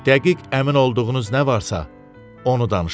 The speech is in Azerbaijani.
Dəqiq əmin olduğunuz nə varsa, onu danışın.